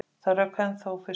Það rauk ennþá úr fiskunum.